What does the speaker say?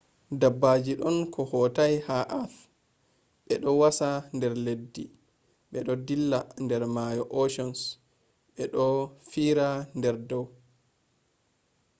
dabbaji ɗon ko hatoi ha earth. ɓeɗo wasa der leddi me ɗo dilla der mayo oceans bo ɓe ɗo fiira der dau